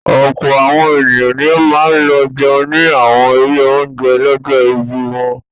Ọ̀pọ̀ àwọn ènìyàn ni ó máa lọ jẹun ní àwọn ilé-oúnjẹ lọ́jọ́ ìbí wọn.